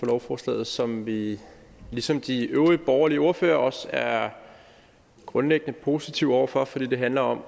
lovforslaget som vi ligesom de øvrige borgerlige ordførere også er grundlæggende positive over for for det handler om